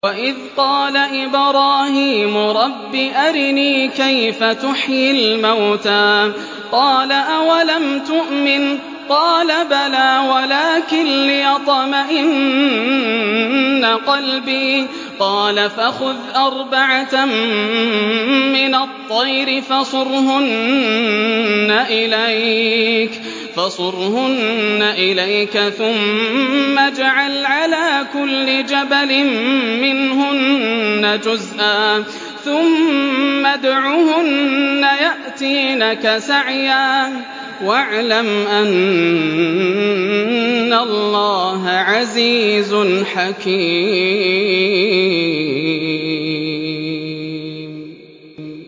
وَإِذْ قَالَ إِبْرَاهِيمُ رَبِّ أَرِنِي كَيْفَ تُحْيِي الْمَوْتَىٰ ۖ قَالَ أَوَلَمْ تُؤْمِن ۖ قَالَ بَلَىٰ وَلَٰكِن لِّيَطْمَئِنَّ قَلْبِي ۖ قَالَ فَخُذْ أَرْبَعَةً مِّنَ الطَّيْرِ فَصُرْهُنَّ إِلَيْكَ ثُمَّ اجْعَلْ عَلَىٰ كُلِّ جَبَلٍ مِّنْهُنَّ جُزْءًا ثُمَّ ادْعُهُنَّ يَأْتِينَكَ سَعْيًا ۚ وَاعْلَمْ أَنَّ اللَّهَ عَزِيزٌ حَكِيمٌ